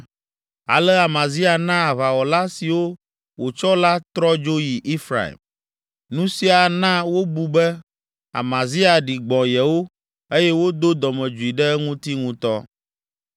Ale Amazia na aʋawɔla siwo wòtsɔ la trɔ dzo yi Efraim. Nu sia na wobu be, Amazia ɖi gbɔ̃ yewo eye wodo dɔmedzoe ɖe eŋuti ŋutɔ.